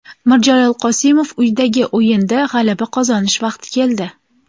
Mirjalol Qosimov: Uydagi o‘yinda g‘alaba qozonish vaqti keldi.